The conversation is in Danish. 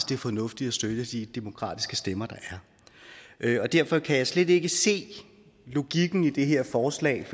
det fornuftigt at støtte de demokratiske stemmer der er og derfor kan jeg slet ikke se logikken i det her forslag